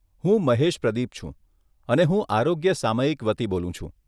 હું મહેશ પ્રદીપ છું અને હું આરોગ્ય સામયિક વતી બોલું છું.